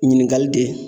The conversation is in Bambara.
Ɲininkali de